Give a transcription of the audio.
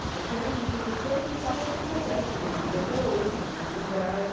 A que era minha professora, eu brincava com a filha dela, que é minha amiga até hoje, que tem a minha idade.